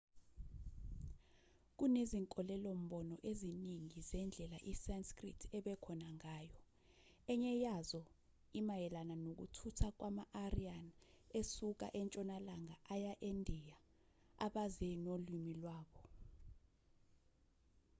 kunezinkolelo-mbono eziningi zendlela isanskrit ebekhona ngayo enye yazo imayelana nokuthutha kwama-aryan esuka entshonalanga aya endiya abaze nolimi lwabo